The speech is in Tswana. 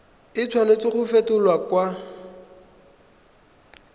a tshwanela go fetolwa kwa